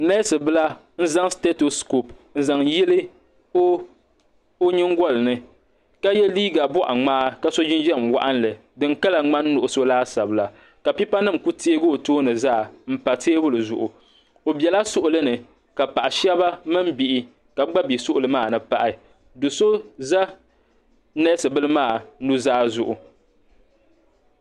Neesi bila n zaŋ sitetoskopu n zaŋ yili o nyingolini ka ye liiga boɣaŋmaa ka so jinjiɛm waɣinli ka di kala ŋmani nuɣuso laasabu la ka pipa nima kuli teegi o tooni zaa m pa teebuli zuɣu o bela suɣuli ni ka paɣa sheba mini bihi gba be suɣuli maani pahi do'so za neesi bila maa nuzaa zuɣu.